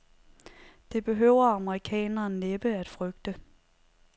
Det behøver amerikaneren næppe at frygte.